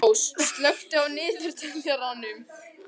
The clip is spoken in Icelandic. Hafrós, slökktu á niðurteljaranum.